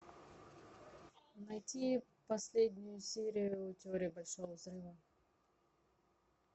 найти последнюю серию теории большого взрыва